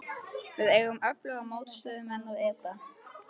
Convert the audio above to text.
Við eigum við öfluga mótstöðumenn að etja.